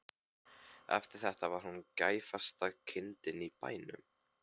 Eftir þetta var hún gæfasta kindin á bænum.